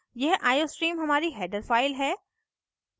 यह iostream हमारी header file है